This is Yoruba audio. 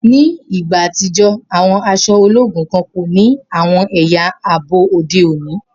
Ni igba atijọ, awọn aṣọ ologun kan ko ni awọn ẹya aabo ode oni.